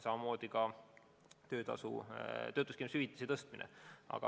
Samamoodi mõjub ka töötuskindlustushüvitise tõstmine.